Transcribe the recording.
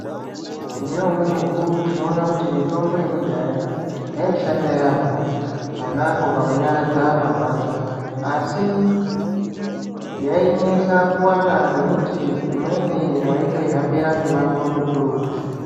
Ngaumwe mukuwo tinoona kuti mitombo yekudhaya yaishanda yambo ponapo pakunyaradza marwadzo asi yainetsa kuwana ngekuti wayitoyi hambira mumango mukurutu.